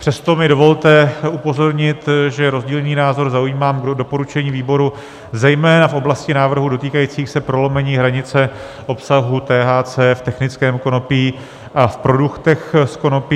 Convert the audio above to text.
Přesto mi dovolte upozornit, že rozdílný názor zaujímám k doporučení výboru zejména v oblasti návrhů dotýkajících se prolomení hranice obsahu THC v technickém konopí a v produktech z konopí.